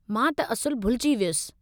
मां त असुलु भुलिजी वियुसि।